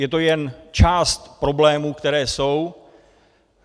Je to jen část problémů, které jsou.